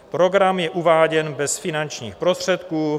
Program je uváděn bez finančních prostředků.